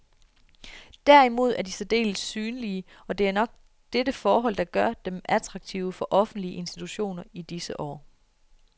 Derimod er de særdeles synlige, og det er nok dette forhold, der gør dem attraktive for offentlige institutioner i disse år.